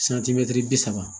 santimɛtiri bi saba